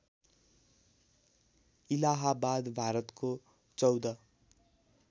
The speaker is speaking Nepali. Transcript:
इलाहाबाद भारतको १४